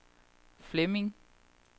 Flemming